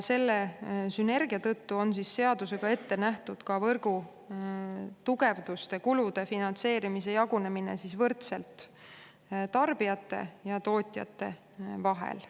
Selle sünergia tõttu on seadusega ette nähtud ka võrgutugevduste kulude finantseerimise jagunemine võrdselt tarbijate ja tootjate vahel.